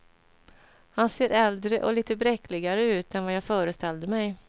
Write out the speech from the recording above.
Han ser äldre och lite bräckligare ut än vad jag föreställde mig.